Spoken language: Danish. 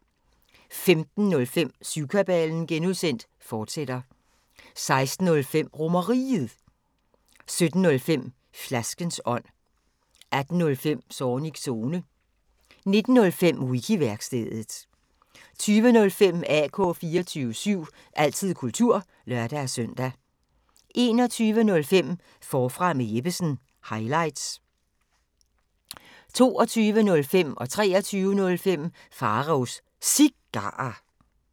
15:05: Syvkabalen (G), fortsat 16:05: RomerRiget 17:05: Flaskens ånd 18:05: Zornigs Zone 19:05: Wiki-værkstedet 20:05: AK 24syv – altid kultur (lør-søn) 21:05: Forfra med Jeppesen – highlights 22:05: Pharaos Cigarer 23:05: Pharaos Cigarer